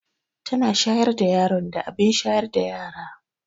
Tana shayar da yaron da abin shayar da yara.